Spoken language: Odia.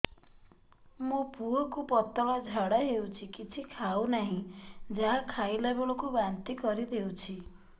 ମୋ ପୁଅ କୁ ପତଳା ଝାଡ଼ା ହେଉଛି କିଛି ଖାଉ ନାହିଁ ଯାହା ଖାଇଲାବେଳକୁ ବାନ୍ତି କରି ଦେଉଛି